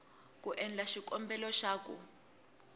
ku endla xikombelo xa ku